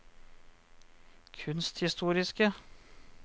kunsthistoriske